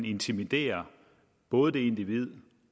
intimidere både det individ